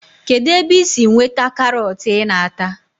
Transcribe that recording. Kedụ ebe i si nweta karọt ị na-ata